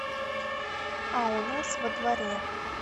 а у нас во дворе